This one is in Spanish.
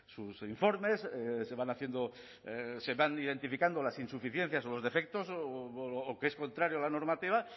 sus informes se van haciendo se van identificando las insuficiencias o los defectos o que es contrario a la normativa